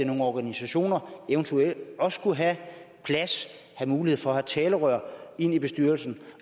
nogle organisationer eventuelt også skulle have mulighed for at få et talerør i bestyrelsen